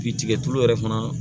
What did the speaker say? Bi tigɛ tulu yɛrɛ fana